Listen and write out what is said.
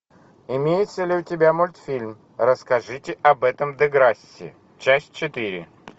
имеется ли у тебя мультфильм расскажите об этом деграсси часть четыре